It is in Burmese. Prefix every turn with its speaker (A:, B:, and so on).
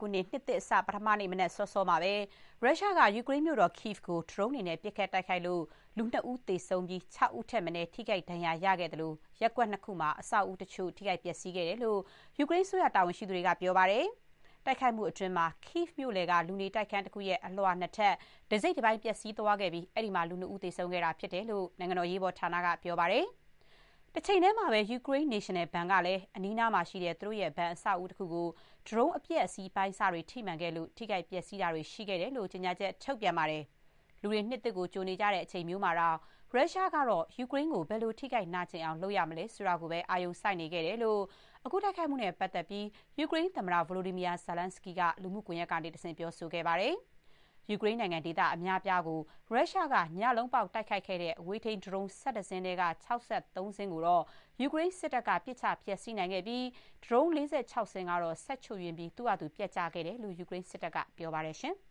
A: ခုနှစ် နှစ်သစ်အစ ပထမနေ့ မနက်စောစောမှာပဲ ရုရှားက ယူကရိန်းနိုင်ငံမြို့တော် Kyiv ကို ဒရုန်းတွေနဲ့ ပစ်ခတ် တိုက်ခိုက်လို့ လူ ၂ ဦး သေဆုံးပြီး ၆ ဦးထက်မနည်း ထိခိုက်ဒဏ်ရာ ရခဲ့သလို၊ ရပ်ကွက်နှစ်ခုမှာ အဆောက်အဦတချို့ ထိခိုက် ပျက်စီးခဲ့တဲ့အကြောင်း ယူကရိန်းအစိုးရ တာဝန်ရှိသူတွေက ပြောပါတယ်။ တိုက်ခိုက်မှုအတွင်း Kyiv မြို့လယ်က လူနေတိုက်ခန်း တခုရဲ့ အလွှာ ၂ ထပ် တစိတ်တပိုင်း ပျက်စီးခဲ့ပြီး အဲ့ဒီမှာ လူ ၂ ဦး သေဆုံးခဲ့တာ ဖြစ်တယ်လို့ နိုင်ငံတော် အရေးပေါ်ဌာန က ပြောပါတယ်။ တချိန်တည်းမှာပဲ ယူကရိန်း နေရှင်နယ်ဘဏ်ကလည်း အနီးအနားမှာရှိတဲ့ သူတို့ရဲ့ ဘဏ်အဆောက်အဦတခုကို ဒရုန်း အပျက်အစီး အပိုင်းအစတွေ ထိမှန်ခဲ့လို့ ထိခိုက်ပျက်စီးတာတွေ ရှိခဲ့တဲ့အကြောင်း ကြေညာချက် ထုတ်ပြန်ပါတယ်။ လူတွေ နှစ်သစ်ကို ကြိုနေကြတဲ့ အချိန်မျိုးမှာတောင် ရုရှားကတော့ ယူကရိန်းကို ဘယ်လို ထိခိုက်နာကျင်အောင် လုပ်မလဲ ဆိုတာကိုပဲ အာရုံစိုက်နေခဲ့တယ်လို့ အခုတိုက်ခိုက်ခံရမှုနဲ့ ပတ်သက်ပြီး ယူကရိန်းသမ္မတ Volodymyr Zelenskyy က လူမှုကွန်ရက်ကတဆင့် ပြောဆိုခဲ့ပါတယ်။ ယူကရိန်းနိုင်ငံ ဒေသ အများအပြားကို ရုရှားက ညလုံးပေါက် တိုက်ခိုက်ခဲ့တဲ့ အဝေးထိန်း ဒရုန်း ၁၁၁ စင်းထဲက ၆၃ စင်းကို ယူကရိန်းစစ်တပ်က ပစ်ချ ဖျက်ဆီးနိုင်ခဲ့ပြီး ဒရုန်း ၄၆ စင်း ကတော့ စက်ချို့ယွင်းပြီး သူ့ဟာသူ ပျက်ကျခဲ့တယ်လို့ ယူကရိန်းစစ်တပ်က ပြောပါတယ်။